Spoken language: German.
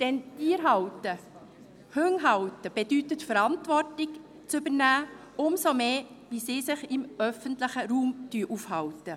Denn Tiere zu halten, Hunde zu halten, bedeutet Verantwortung zu übernehmen, umso mehr, wenn sie sich im öffentlichen Raum aufhalten.